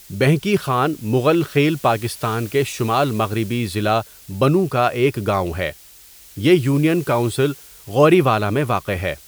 بهنګي خان مغل خیل پاکستان کے شمال مغربی ضلع بنوں کا ایک گاؤں ہے یہ یونین کونسل غوریوالہ میں واقع ہے.